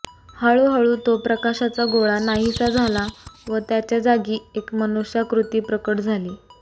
हळूहळू तो प्रकाशाचा गोळा नाहीस झाला व त्याच्या जागी एक मनुष्याकृती प्रकट झाली